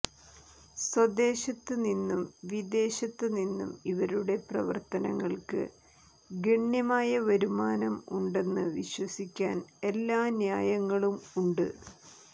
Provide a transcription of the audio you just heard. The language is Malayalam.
സ്വദേശത്തുനിന്നും വിദേശത്തുനിന്നും ഇവരുടെ പ്രവർത്തനങ്ങൾക്ക് ഗണ്യമായ വരുമാനം ഉണ്ടെന്ന് വിശ്വസിക്കാൻ എല്ലാ ന്യായങ്ങളും ഉണ്ട്